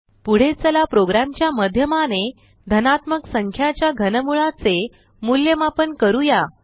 पुढे चला प्रोग्राम च्या माध्यमाने धनात्मक संख्याच्या घनमुळा चे मूलयमापन करूया